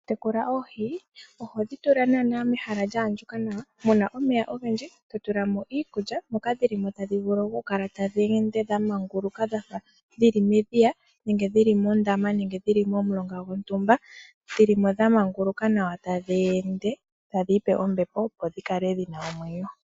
Oku tekula oohi oho dhi tula nee mehala lya andjuka nawa. Muna omeya ogendji, to tulamo iikulya. Moka dhilimo tadhi vulu oku kala tadhi ende dha manguluka dhafa dhili medhiya nenge dhili mondama nenge dhili momulonga gontumba. Dhili mo dhamanguluka tadhi ende taadhi ipe ombepo opo dhi kale dhina omwenyo.